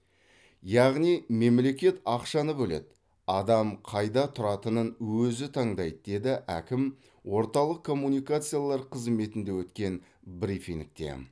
яғни мемлекет ақшаны бөледі адам қайда тұратынын өзі таңдайды деді әкім орталық коммуникациялар қызметінде өткен брифингте